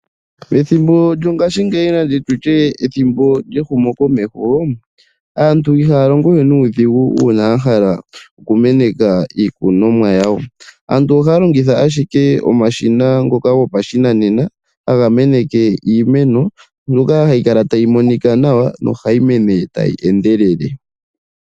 Pethimbo lyongashingeyi aantu ihaya longowe nuudhigu uuna ya hala oku meneka iikunomwa yawo. Aantu ohaya longitha omashina gopashinanena ngoka ha ga meneke iimeno mbyoka ha yi kala ta yi monika nawa nohayi mene tayi endelele.